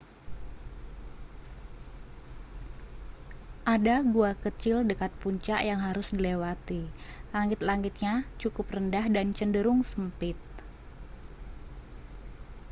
ada gua kecil dekat puncak yang harus dilewati langit-langitnya cukup rendah dan cenderung sempit